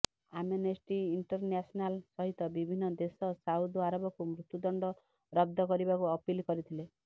Amnesty International ସହିତ ବିଭିନ୍ନ ଦେଶ ସାଉଦି ଆରବକୁ ମୃତ୍ୟୁ ଦଣ୍ଡ ରଦ୍ଦ କରିବାକୁ ଅପିଲ କରିଥିଲେ